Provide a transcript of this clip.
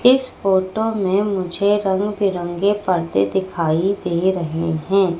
इस फोटो में मुझे रंग बिरंगे पर्दे दिखाई दे रहे हैं।